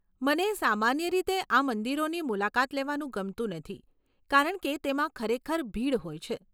મને સામાન્ય રીતે આ મંદિરોની મુલાકાત લેવાનું ગમતું નથી કારણ કે તેમાં ખરેખર ભીડ હોય છે.